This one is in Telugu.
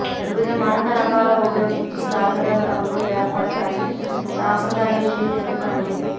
వివిధ మడత రకాలు ఉపయోగించి కాగితం రంగులు ఏర్పడతాయి సంప్రదాయ షీట్ ఎందుకంటే